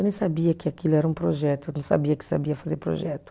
Eu nem sabia que aquilo era um projeto, eu não sabia que sabia fazer projeto.